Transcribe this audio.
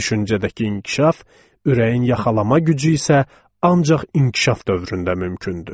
Düşüncədəki inkişaf, ürəyin yaxalama gücü isə ancaq inkişaf dövründə mümkündür.